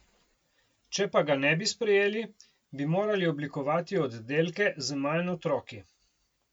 Če pa ga ne bi sprejeli, bi morali oblikovati oddelke z manj otroki.